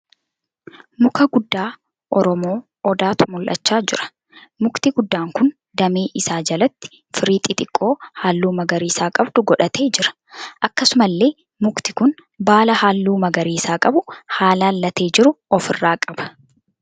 Muka guddaa Oromoo Odaatu mul'achaa jira. Mukti guddaan kun damee isaa jalatti firii xixiqqoo halluu magariisa qabdu godhatee jira. Akkasumallee mukti kun baala halluu magariisa qabu haalan latee jiru ofirraa qaba.